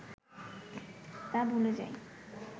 তা ভুলে যায়